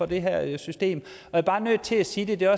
det her system jeg er bare nødt til sige det og